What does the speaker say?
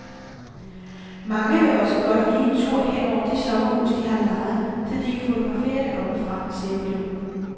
Mange vil også godt lige en tur hen over det sommerhus, de har lejet, så de kan fotografere det oppefra, siger piloten.